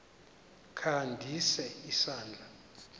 kha ndise isandla